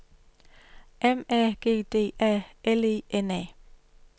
M A G D A L E N A